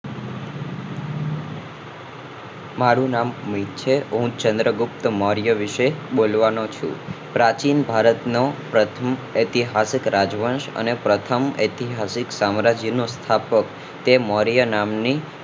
મારું નામ મિત છે હું ચંદ્રગુપ્ત મૌર્ય વિશે બોલવાનો છું પ્રાચીન ભારત નો પ્રથમ ઐતિહાસિક રાજવંશ અને પ્રથમ ઐતિહાસિક સામ્રાજ્ય નો સ્થાપક તે મૌર્ય નામ ની